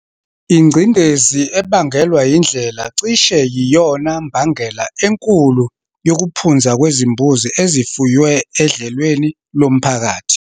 Ingcindezi ebangelwa yindlela cishe yiyona mbangela enkulu yokuphunza kwezimbuzi ezifuywe edlelweni lomphakathi.